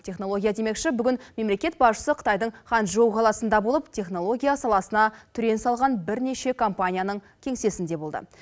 технология демекші бүгін мемлекет басшысы қытайдың ханчжоу қаласында болып технология саласына түрен салған бірнеше компанияның кеңсесінде болды